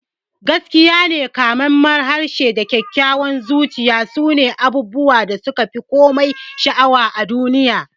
Gaskiyane, kamammen harshe da kyakkyawar zuciya sune abubuwan da suka fi komai sha'awa a duniya.